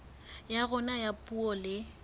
ya rona ya puo le